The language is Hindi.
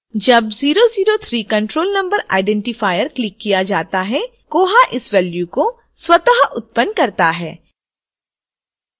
जब 003 control number identifier clicked किया जाता है koha इस value को स्वत: उत्पन्न करता है